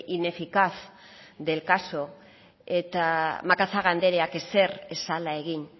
ineficaz del caso eta macazaga andreak ezer ez zela egin